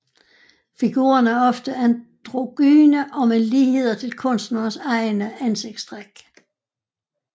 Figurerne er ofte androgyne og med ligheder til kunstnerens egne ansigtstræk